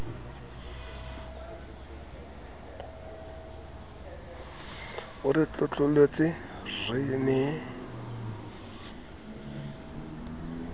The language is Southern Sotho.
o re tlotlolotse re ne